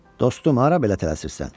Dostum, hara belə tələsirsən?